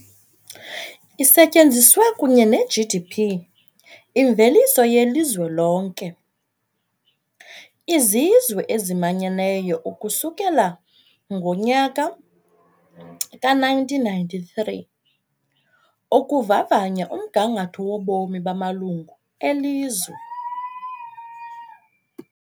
Isetyenziswe, kunye ne-GDP, imveliso yelizwe lonke, yiZizwe eziManyeneyo ukusukela ngo-1993 ukuvavanya umgangatho wobomi bamalungu elizwe.